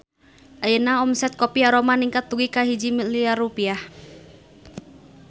Ayeuna omset Kopi Aroma ningkat dugi ka 1 miliar rupiah